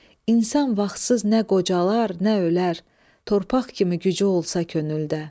İnsan vaxtsız nə qocalar, nə ölər, torpaq kimi gücü olsa könüldə.